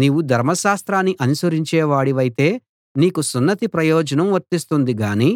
నీవు ధర్మశాస్త్రాన్ని అనుసరించేవాడివైతే నీకు సున్నతి ప్రయోజనం వర్తిస్తుంది గాని